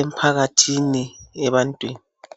emphakathini ebantwini.